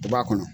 U b'a kɔnɔ